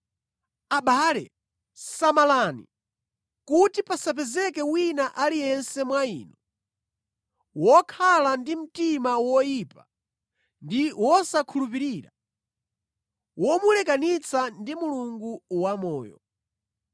Abale samalani, kuti pasapezeke wina aliyense mwa inu wokhala ndi mtima woyipa ndi wosakhulupirira, womulekanitsa ndi Mulungu wamoyo.